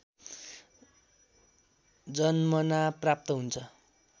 जन्मना प्राप्त हुन्छ